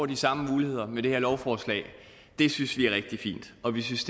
de samme muligheder med det her lovforslag det synes vi er rigtig fint og vi synes